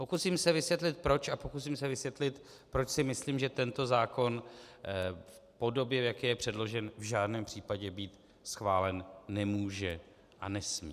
Pokusím se vysvětlit proč a pokusím se vysvětlit, proč si myslím, že tento zákon v podobě, v jaké je přeložen, v žádném případě být schválen nemůže a nesmí.